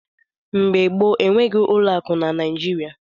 Mgbe gboo, enweghị ụlọakụ na Naịjirịa.